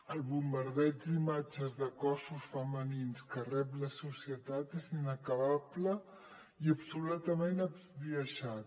el bombardeig d’imatges de cossos femenins que rep la societat és inacabable i absolutament esbiaixat